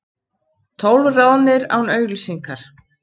Tólf ráðnir án auglýsingar